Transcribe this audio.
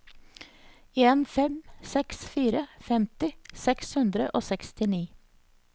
en fem seks fire femti seks hundre og sekstini